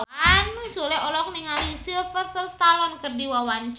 Sule olohok ningali Sylvester Stallone keur diwawancara